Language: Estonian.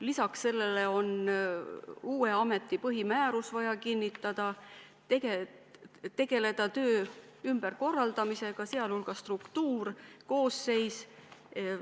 Lisaks sellele on vaja kinnitada uue ameti põhimäärus, tegeleda töö ümberkorraldamisega, mis hõlmab ka asutuse struktuuri ja töötajate koosseisu.